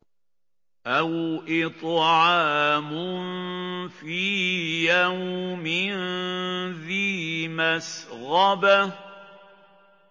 أَوْ إِطْعَامٌ فِي يَوْمٍ ذِي مَسْغَبَةٍ